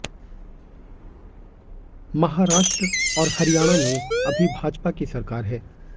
महाराष्ट्र और हरियाणा में अभी भाजपा की सरकार है